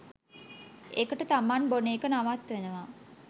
එකට තමන් බොන එක නවත්වනවා